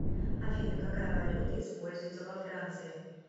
афина какая валюта используется во франции